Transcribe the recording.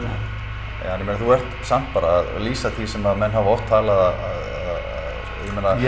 ja en ég þú ert samt bara að lýsa því sem menn hafa oft talið að ég held